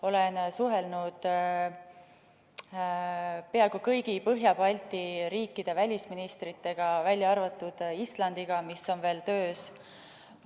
Olen suhelnud peaaegu kõigi Põhjala ja Balti riikide välisministritega, välja arvatud Islandiga, sest see suhtlus on veel ettevalmistamisel.